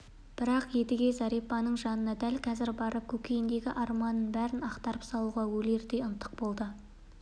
бірақ едіге зәрипаның жанына дәл қазір барып көкейіндегі арманның бәрін ақтарып салуға өлердей ынтық болды